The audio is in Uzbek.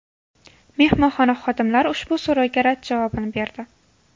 Mehmonxona xodimlari ushbu so‘rovga rad javobini berdi.